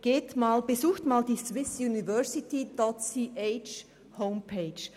Besuchen Sie einmal die Website www.swissuniversities.ch.